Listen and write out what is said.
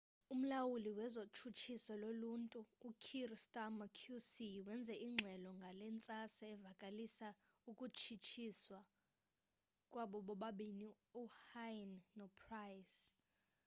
umlawuli wezotshutshiso loluntu u-kier starmer qc wenze ingxelo ngale ntsasa evakalisa ukutshutshiswa kwabo bobabini uhuhne nopryce